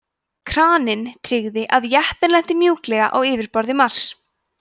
kraninn tryggði að jeppinn lenti mjúklega á yfirborði mars